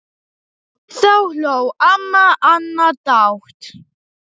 Þá hló amma Anna dátt.